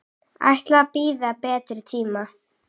Ætla að bíða betri tíma.